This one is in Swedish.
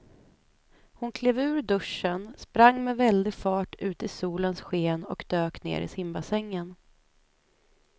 Hon klev ur duschen, sprang med väldig fart ut i solens sken och dök ner i simbassängen.